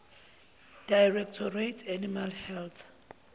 directorate animal health